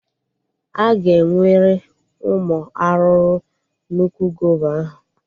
Aga enwere ụmụ arụrụ n'úkwù gova ahụ